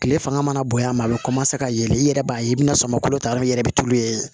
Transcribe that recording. Kile fanga mana bonya a bɛ ka yɛlɛ i yɛrɛ b'a ye i bɛna sɔmi kolo ta i yɛrɛ bɛ tulu ye